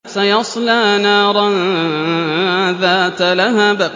سَيَصْلَىٰ نَارًا ذَاتَ لَهَبٍ